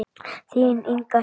Þín Inga Hlíf.